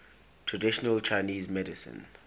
traditional chinese medicine